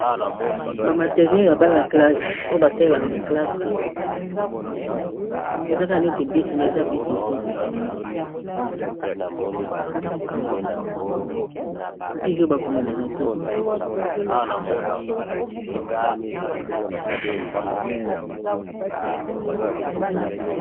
Ba materiele ya Bana classe, oyo ba salelaka na classe eza ka neti bic me eza bic te bic oyo ba komelaka te.